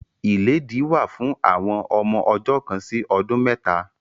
Ìlédìí wà fún àwọn ọmọ ọjọ́ kan sí ọdún mẹ́ta.